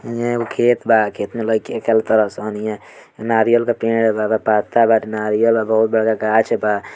इहा एगो खेत बा । खेत में लइकन खेला ताड़ासन । इहां नारियल के पेड़ बा पत्ता बा नारियल के बहुत बड़का गाछ बा ।